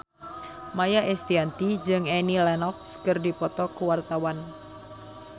Maia Estianty jeung Annie Lenox keur dipoto ku wartawan